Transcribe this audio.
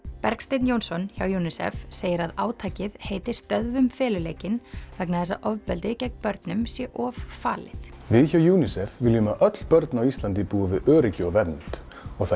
Bergsteinn Jónsson hjá UNICEF segir að átakið heiti stöðvum feluleikinn vegna þess að ofbeldi gegn börnum sé of falið við hjá UNICEF viljum að öll börn á Íslandi búi við öryggi og vernd og það